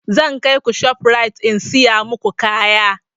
Zan kaiku shof rite in siya maku kaya